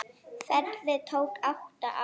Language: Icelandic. Ferlið tók átta ár.